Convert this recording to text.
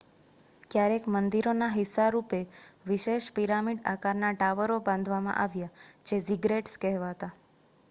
ક્યારેક મંદિરોના હિસ્સા રૂપે વિશેષ પિરામિડ આકારના ટાવરો બાંધવામાં આવ્યાં જે ઝિગરેટ્સ કહેવાતા